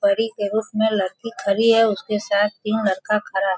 परी के रूप में लड़की खड़ी है। उसके साथ तीन लड़का खड़ा है।